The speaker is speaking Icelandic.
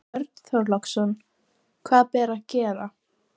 Björn Þorláksson: Hvað ber að gera?